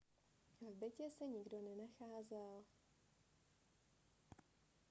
v bytě se nikdo nenacházel